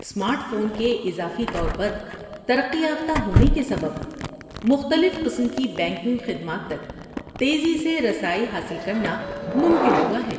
Smart phone کے اضافی طور پر ترقی یافتہ ہونے کے سبب، مختلف قسم کی بینکنگ خدمات تک تیزی سے رسائی حاصل کرنا ممکن ہوا ہے۔